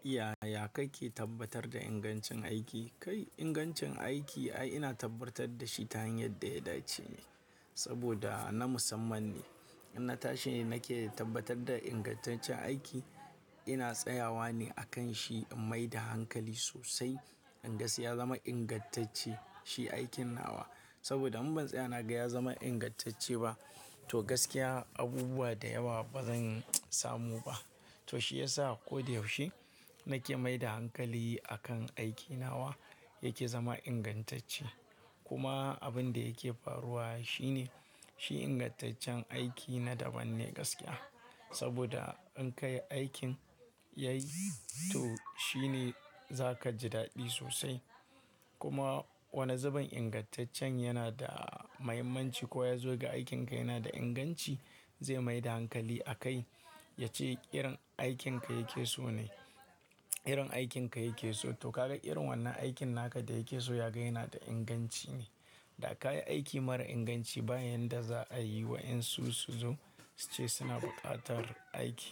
Ya, ya kai ke tabbatar da ingancin aiki? Kai ingancin aiki ai ina tabbatar da shi ta hanyar da ya dace ne saboda na musamman ne. Inna tashi nake tabbatar da ingantaccen aiki, ina tsayawa ne a kan shi in maida hankali sosai inga sai ya zama ingantacce shi aikina wa. Saboda in ban tsaya naga ya zama ingantacce ba to gaskiya abubuwa da yawa bazan samu ba. To shi yasa ko da yaushe nake maida hankali a kan aikina wa yake zama ingantacce. Kuma abin da yake faruwa shine shi ingantaccen aiki na daban ne gaskiya. Saboda in ka yi aikin yayi to shine zaka ji daɗi sosai. Kuma wani zubin ingantaccen yana da mahimmanci ko ya zo ga aikinka yana da inganci zai maida hankali a kai ya ce irin aikin ka yake so ne, irin aikin ka yake so. To kaga irin wannan aikin naka da yake so ya gaya yana da inganci ne. Da ka yi aiki mara inganci bayan da za a yi wa'yansu su zo su ce suna buƙatar aiki